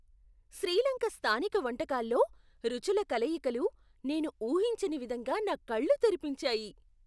శ్రీ లంక స్థానిక వంటకాల్లో రుచుల కలయికలు నేను ఊహించని విధంగా నా కళ్ళు తెరిపించాయి.